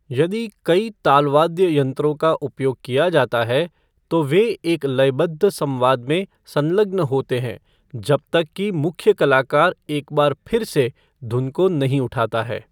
यदि कई तालवाद्य यंत्रों का उपयोग किया जाता है, तो वे एक लयबद्ध संवाद में संलग्न होते हैं जब तक कि मुख्य कलाकार एक बार फिर से धुन को नहीं उठाता है।